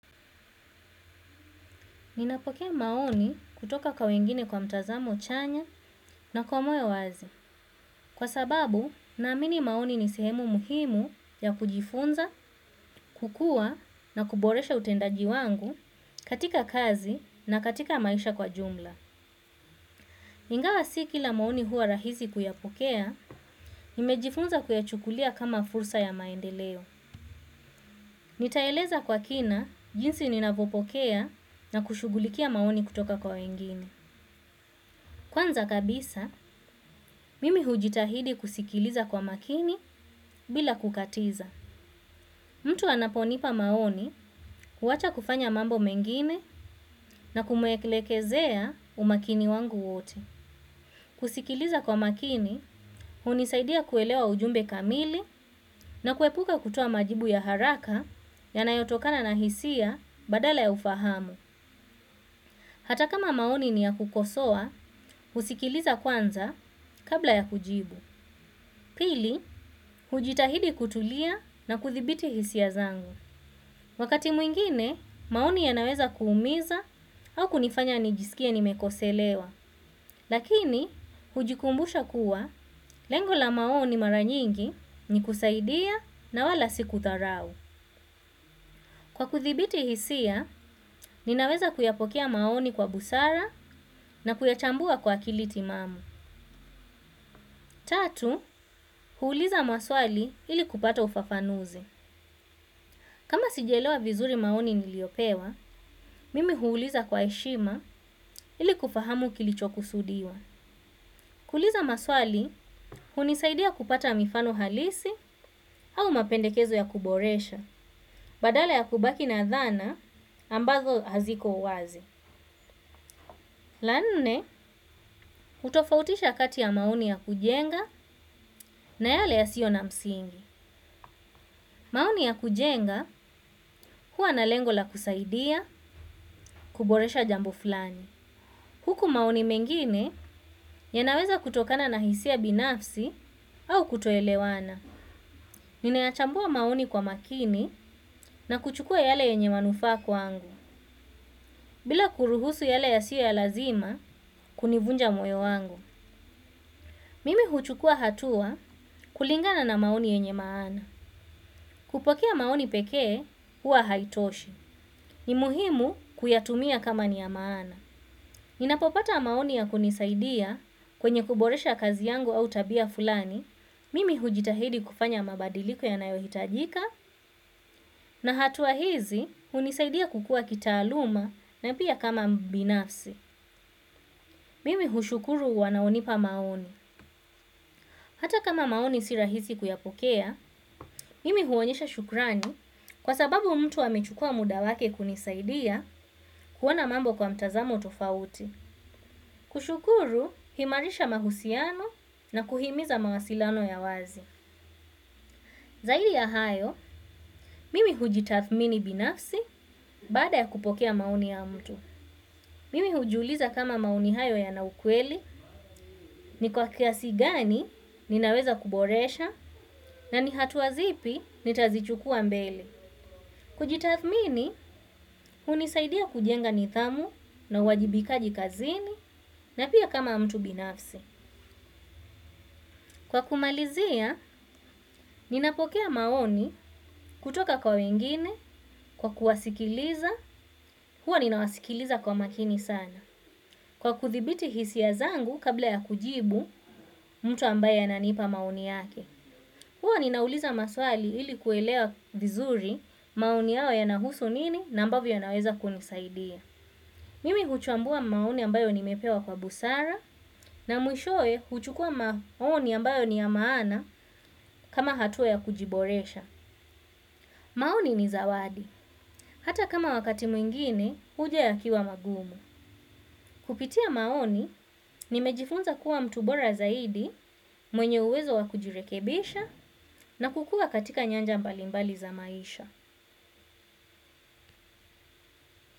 Napokea maoni kutoka kwa wengine kwa matazamo chanya na kwa moyo wazi. Kwa sababu, naamini maoni ni sehemu muhimu ya kujifunza, kukua na kuboresha utendaji wangu katika kazi na katika maisha kwa jumla. Ingawa siki ila maoni hua rahizi kuyapokea, nimejifunza kuyachukulia kama fursa ya maendeleo. Nitaeleza kwa kina, jinsi ninavyopokea na kushugulikia maoni kutoka kwa wengine. Kwanza kabisa, mimi hujitahidi kusikiliza kwa makini bila kukatiza. Mtu anaponipa maoni huwacha kufanya mambo mengine na kumwelekezea umakini wangu wote. Kusikiliza kwa makini, hunisaidia kuelewa ujumbe kamili na kuepuka kutoa majibu ya haraka ya nayotokana na hisia badala ya ufahamu. Hata kama maoni ni ya kukosoa, usikiliza kwanza kabla ya kujibu. Pili, hujitahidi kutulia na kuthibiti hisia zangu. Wakati mwingine, maoni yanaweza kuumiza au kunifanya nijisikia nimekoselewa. Lakini, hujikumbusha kuwa lengola maoni maranyingi ni kusaidia na wala siku dharau. Kwa kudhibiti hisia, ninaweza kuyapokea maoni kwa busara na kuyachambua kwa kilitimamu. Tatu, huuliza maswali ili kupata ufafanuzi. Kama sijaelewa vizuri maoni niliopewa, mimi huuliza kwa eshima ili kufahamu kilicho kusudiwa. Kuliza maswali, hunisaidia kupata mifano halisi au mapendekezo ya kuboresha. Badala ya kubaki na dhana ambazo haziko uwazi. Lanne, utofautisha kati ya mauni ya kujenga na yale yasio na msingi. Maoni ya kujenga hua na lengo la kusaidia kuboresha jambo flani. Huku maoni mengine yanaweza kutokana na hisia binafsi au kutoelewana. Ninayachambua maoni kwa makini na kuchukua yale yenye manufaa kwangu. Bila kuruhusu yale ya siya lazima kunivunja moyo wangu. Mimi huchukua hatua kulingana na maoni yenye maana. Kupokea maoni pekee huwa haitoshi. Ni muhimu kuyatumia kama ni ya maana. Ninapopata maoni ya kunisaidia kwenye kuboresha kazi yangu au tabia fulani, mimi hujitahidi kufanya mabadiliko yanayo hitajika na hatua hizi unisaidia kukua kitaaluma na pia kama mbinafsi. Mimi hushukuru wanaonipa maoni. Hata kama maoni si rahisi kuyapokea, mimi huonyesha shukrani kwa sababu mtu amechukua muda wake kunisaidia kuwana mambo kwa mtazamo tofauti. Kushukuru, himarisha mahusiano na kuhimiza mawasilano ya wazi. Zaidi ya hayo mimi hujitathmini binafsi baada ya kupokea maoni ya mtu. Mimi hujuliza kama maoni hayo yana ukweli ni kwa kiasigani ninaweza kuboresha na ni hatuazipi nitazichukua mbele. Kujitathmini, hunisaidia kujenga nidhamu na wajibika jikazini na pia kama mtu binafsi. Kwa kumalizia, ninapokea maoni kutoka kwa wengine, kwa kuwasikiliza, hua ninawasikiliza kwa makini sana. Kwa kudhuibiti hisia zangu kabla ya kujibu mtu ambaye ananipa maoni yake huwa ninauliza maswali ili kuelewa vizuri maoni yao ya nahusu nini na ambavyo ya naweza kunisaidia. Mimi huchambua maoni ambayo nimepewa kwa busara na mwishoe huchukua maoni ambayo ni ya maana kama hatua ya kujiboresha. Maoni ni zawadi. Hata kama wakati mwingine huja yakiwa magumu kupitia maoni nimejifunza kuwa mtu bora zaidi mwenye uwezo wa kujirekebisha na kukua katika nyanja mbalimbali za maisha.